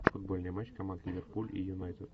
футбольный матч команд ливерпуль и юнайтед